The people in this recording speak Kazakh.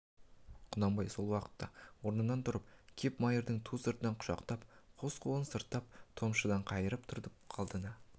құнанбай сол уақытта орнынан тұрып кеп майырды ту сыртынан құшақтап қос қолын сыртына топшыдан қайырып тұра қалды да